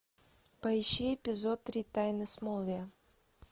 поищи эпизод три тайны смолвиля